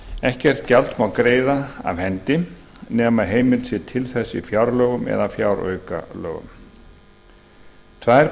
ekkert gjald má greiða af hendi nema heimild sé til þess í fjárlögum eða fjáraukalögum tvær